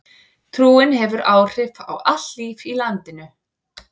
Trúin hefur áhrif á allt líf í landinu.